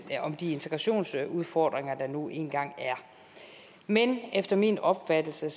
om de integrationsudfordringer der nu engang er men efter min opfattelse